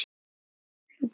Hvað hafði orðið um Sólu?